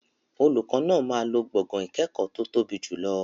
Olùkọ́ náà máa lo gbọ̀ngàn ìkẹ́kọ̀ọ́ tó tóbi jùlọ.